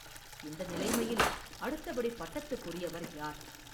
இந்த நிலைமையில் அடுத்தபடி பட்டத்துக்குரியவர் யார்?